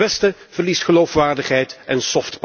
En het westen verliest geloofwaardigheid en